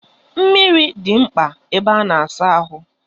Mmiri dị mkpa na ebe a na-asa ahụ.